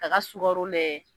K'a ka sukaro lajɛ.